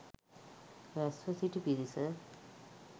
රැස්ව සිටි පිරිස